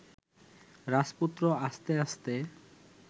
রাজপুত্র আস্তে আস্তে